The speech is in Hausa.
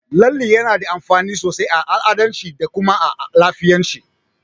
Lalle yana da amfani sosai a al'adance da kuma a lafiyance.